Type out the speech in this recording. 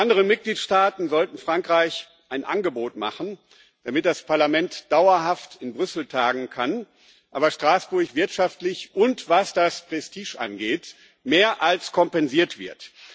Die anderen Mitgliedstaaten sollten Frankreich ein Angebot machen, damit das Parlament dauerhaft in Brüssel tagen kann, aber Straßburg wirtschaftlich und was das Prestige angeht mehr als kompensiert wird.